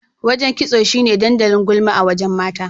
Wajen kitso shine dandalin gulma a wajen mata.